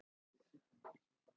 En nú er hún öll.